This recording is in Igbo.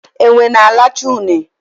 Enwe na alacha une